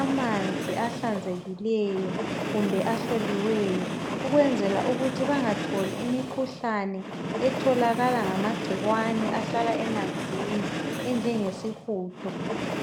amanzi ahlanzekileyo kumbe ahloliweyo. Ukwenzela ukuthi bengatholi imikhuhlane etholakala ngamagcikwane ahlala emanzini. Enje nge sihudo.